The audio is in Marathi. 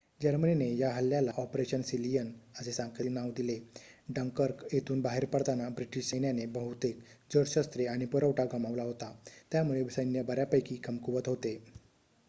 "जर्मनीने या हल्ल्याला "ऑपरेशन सीलियन" असे सांकेतिक नाव दिले. डंकर्क येथून बाहेर पडताना ब्रिटिश सैन्याने बहुतेक जड शस्त्रे आणि पुरवठा गमावला होता त्यामुळे सैन्य बऱ्यापैकी कमकुवत होते.